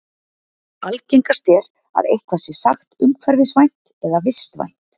Algengast er að eitthvað sé sagt umhverfisvænt eða vistvænt.